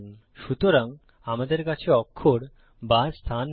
সুতরাং আমাদের কাছে অক্ষর বা স্থান নেই